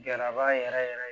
Gɛlɛyaba yɛrɛ yɛrɛ